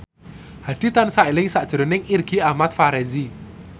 Hadi tansah eling sakjroning Irgi Ahmad Fahrezi